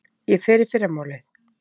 Ég fer í fyrramálið.